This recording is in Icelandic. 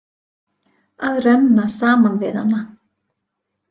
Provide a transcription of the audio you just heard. Að renna saman við hana.